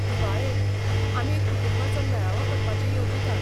दिवाळेक, आमी एक कुटुंबाचो मेळावो करपाचें येवजितात.